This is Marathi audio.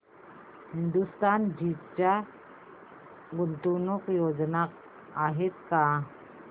हिंदुस्तान झिंक च्या गुंतवणूक योजना आहेत का